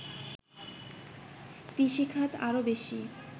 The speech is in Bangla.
কৃষিখাত আরো বেশী